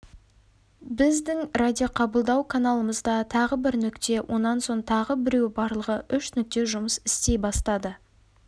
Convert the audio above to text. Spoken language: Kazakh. біздің радиоқабылдау каналымызда тағы бір нүкте онан соң тағы біреуі барлығы үш нүкте жұмыс істей бастады